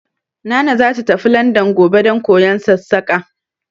Nana za ta tafi Landan gobe don koyon Sassaƙa